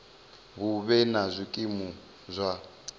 hu vhe na zwikimu zwa